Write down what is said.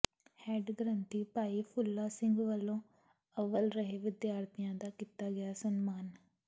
head ਗ੍ਰੰਥੀ ਭਾਈ ਫੂਲਾ ਸਿੰਘ ਵਲੋਂ ਅੱਵਲ ਰਹੇ ਵਿਦਿਆਰਥੀਆਂ ਦਾ ਕੀਤਾ ਗਿਆ ਸਨਮਾਨ